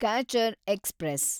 catcher express